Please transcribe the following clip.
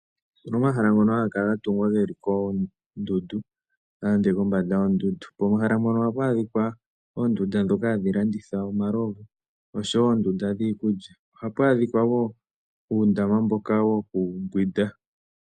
Opuna omahala ngono ha ga kala ga tungwa ge li koondundu nenge kombanda yoondundu. Pomahala mpono ohapu adhika oondunda ndhono hadhi landitha omalovu osho wo oondunda dhiikulya. Ohapu adhika wo uundama mboka woku mbwinda.